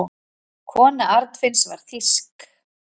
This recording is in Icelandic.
Kona Arnfinns var þýsk.